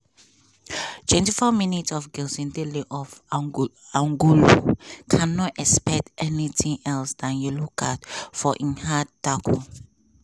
twenty four minutes of of ango angolo cannot expect anything else than yellow card for im hard tackle